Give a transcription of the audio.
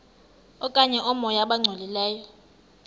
okanye oomoya abangcolileyo